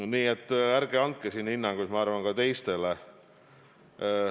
Nii et ärge andke siin hinnanguid teiste kohta.